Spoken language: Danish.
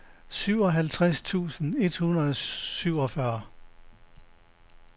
syvoghalvtreds tusind et hundrede og syvogfyrre